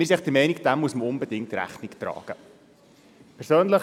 Wir sind der Meinung, dass man dem unbedingt Rechnung tragen muss.